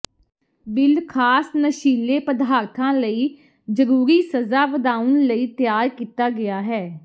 bill ਖਾਸ ਨਸ਼ੀਲੇ ਪਦਾਰਥਾਂ ਲਈ ਜਰੂਰੀ ਸਜ਼ਾ ਵਧਾਉਣ ਲਈ ਤਿਆਰ ਕੀਤਾ ਗਿਆ ਹੈ